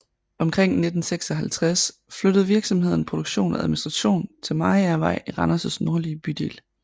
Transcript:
Omkring 1956 flyttede virksomheden produktion go administration til Mariagervej i Randers nordlige bydel